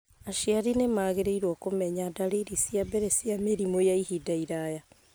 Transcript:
Aciari nĩ magĩrĩirũo kũmenya dariri cia mbere cia mĩrimũ ya ihinda iraya